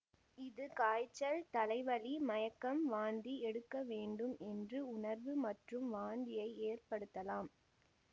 இது காய்ச்சல் தலைவலி மயக்கம் வாந்தி எடுக்கவேண்டும் என்று உணர்வு மற்றும் வாந்தியை ஏற்படுத்தலாம்